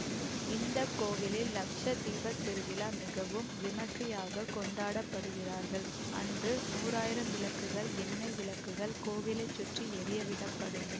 இந்த கோவிலில் லக்ஷ தீப திருவிழா மிகவும் விமரிசையாகக் கொண்டாடுகிறார்கள் அன்று நூறாயிரம் விளக்குகள் எண்ணை விளக்குகள் கோவிலை சுற்றி எரியவிடப்படும்